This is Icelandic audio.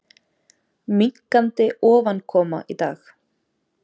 Minnkandi ofankoma í dag